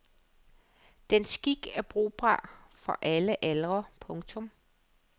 Den skik er brugbar for alle aldre. punktum